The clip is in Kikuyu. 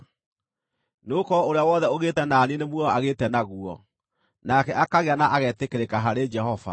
Nĩgũkorwo ũrĩa wothe ũgĩte na niĩ nĩ muoyo agĩte naguo, nake akagĩa na agetĩkĩrĩka harĩ Jehova.